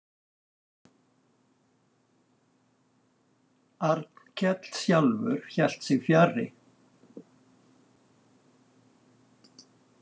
Arnkell sjálfur hélt sig fjarri.